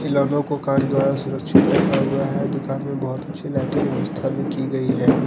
खिलौनो को कांच द्वारा सुरक्षित रखा हुआ है दुकान मे बहुत अच्छी लाइटिंग व्यवस्था भी की गई है।